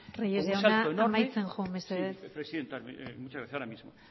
reyes jauna amaitzen joan mesedez sí presidenta ahora mismo